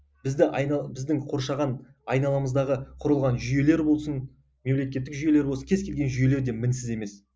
бізді біздің қоршаған айналамыздағы құрылған жүйелер болсын мемлекеттік жүйелер болсын кез келген жүйелерде мінсіз емес